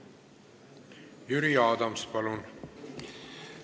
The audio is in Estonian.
Jüri Adams, palun!